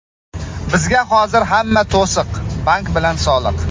Bizga hozir hamma to‘siq — bank bilan soliq.